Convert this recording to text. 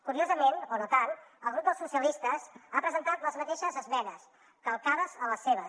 curiosament o no tant el grup socialistes hi ha presentat les mateixes esmenes calcades a les seves